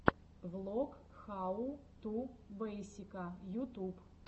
влог хау ту бейсика ютуб